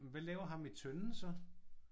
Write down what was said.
Men hvad laver ham med tønden så?